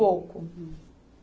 Pouco. Hum.